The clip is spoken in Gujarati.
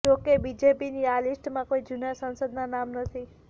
જોકે બીજેપીની આ લિસ્ટમાં કોઈ જૂના સાંસદના નામ નથી